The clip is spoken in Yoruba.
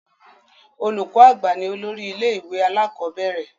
Olùkọ àgbà ni olórí ilé ìwé alakọ̀bẹ́ẹ́rẹ̀